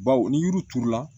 Baw ni yiri turu la